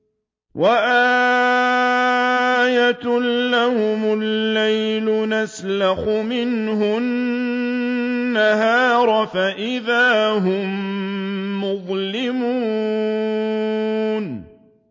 وَآيَةٌ لَّهُمُ اللَّيْلُ نَسْلَخُ مِنْهُ النَّهَارَ فَإِذَا هُم مُّظْلِمُونَ